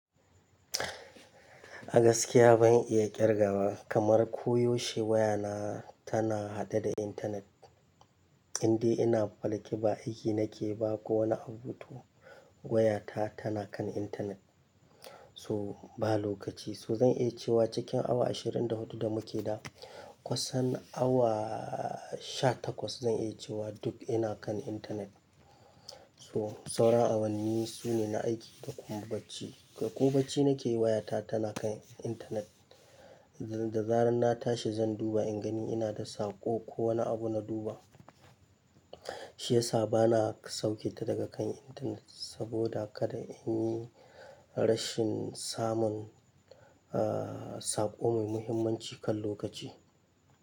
A gaskiya ban iya ƙirgawa kamar ko yaushe waya na tana haɗe da internet. Inde ina falƙi ba aiki nake ba ko wani abu ba to waya ta tana kan internet. So ba lokaci, so zan iya cewa cikin awa ashirin da hudu da muke da kusan awa sha takwas zan iya cewa duk ina kan internet. So sauran awanni sune na aiki da kuma bacci, kai ko bacci nake yi waya ta tana kan internet. Da zarar na tashi zan duba in gani ina da saƙo ko wani abu na duba. Shi yasa bana sauke ta daga kan internet saboda kada in yi rashin samun, ah, saƙo mai muhimmanci kan lokaci.